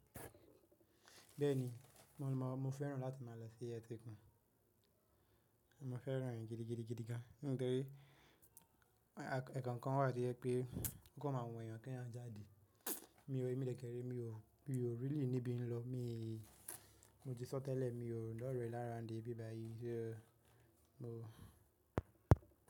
Bẹ́ẹ̀ni, mò ń mọ, mo fẹ́ràn láti máa lọ sí ẹ̀tẹ̀kún, mo fẹ́ràn rẹ̀ gidigidigidi ga, nítorí ẹ̀kọ̀kan wà tí ó yẹ pé ó kó má a wù ẹ́ yan kí ẹ́ yan jáde. Mi ò, èmi lẹ́kẹ̀ẹ̀rẹ̀, mi ò, mi ò really níbi ń lọ, mi, mo ti sọ́ tẹ́lẹ̀ mi ò ròrùn lọ́rẹ́ ni around bíbàyí, so mo.